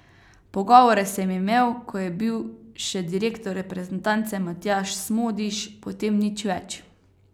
Pogovore sem imel, ko je bil še direktor reprezentance Matjaž Smodiš, potem nič več.